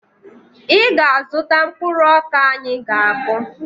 Ị ga-azụta mkpụrụ ọka anyị ga-akụ!